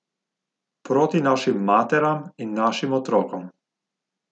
Proti našim materam in našim otrokom!